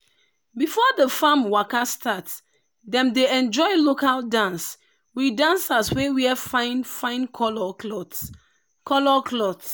before the farm waka start dem dey enjoy local dance with dancers wey wear fine fine colour cloth. colour cloth.